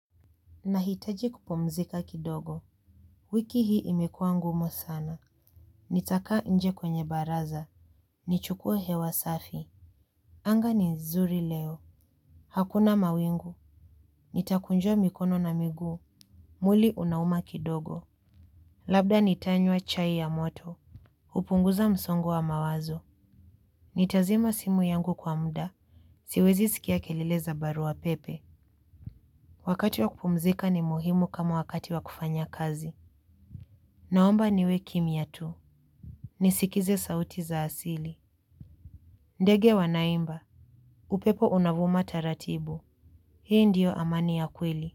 Nahitaji kupomzika kidogo. Wiki hii imekua ngumu sana. Nitaka nje kwenye baraza. Nichukue hewa safi. Anga ni nzuri leo. Hakuna mawingu. Nitakunjua mikono na migu. Muili unauma kidogo. Labda nitanywa chai ya moto. Upunguza msongo wa mawazo. Nitazima simu yangu kwa mda. Siwezi sikia kelele za baru pepe. Wakati wa kupomzika ni muhimu kama wakati wa kufanya kazi. Naomba niwe kimia tu. Ni sikize sauti za asili. Ndege wanaimba, upepo unavuma taratibu. Hii ndiyo amani ya kweli.